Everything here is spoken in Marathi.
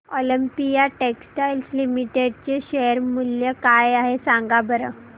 ऑलिम्पिया टेक्सटाइल्स लिमिटेड चे शेअर मूल्य काय आहे सांगा बरं